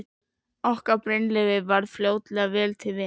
Okkur Brynleifi varð fljótlega vel til vina.